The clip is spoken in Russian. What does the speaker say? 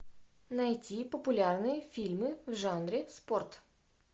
найти популярные фильмы в жанре спорт